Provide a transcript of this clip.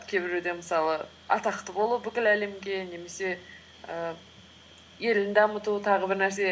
кейбіреуде мысалы атақты болу бүкіл әлемге немесе і елін дамыту тағы бір нәрсе